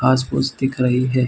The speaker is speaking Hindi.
घाँस-फूस दिख रही है।